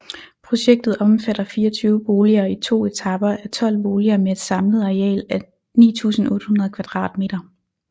Projektet omfatter 24 boliger i to etaper af 12 boliger med et samlet areal af 9800 kvadratmeter